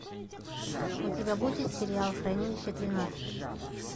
у тебя будет сериал хранилище тринадцать